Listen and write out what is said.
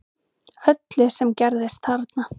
Öllu sem gerðist þarna